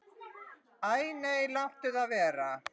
Æ nei, láttu það vera.